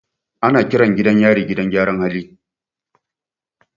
Ana kiran gidan yari gidan gyaran hali.